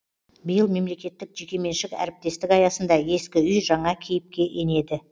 биыл мемлекеттік жекеменшік әріптестік аясында ескі үй жаңа кейіпке енеді